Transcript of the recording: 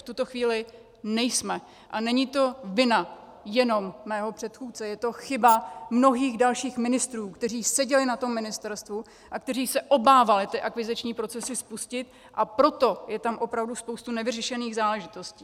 V tuto chvíli nejsme a není to vina jenom mého předchůdce, je to chyba mnohých dalších ministrů, kteří seděli na tom ministerstvu a kteří se obávali ty akviziční procesy spustit, a proto je tam opravdu spousta nevyřešených záležitostí.